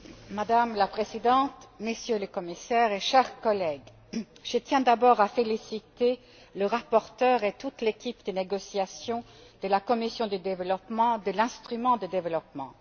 Madame la Présidente, Messieurs les Commissaires, chers collègues, je tiens d'abord à féliciter le rapporteur et toute l'équipe de négociation de la commission du développement pour l'instrument de développement.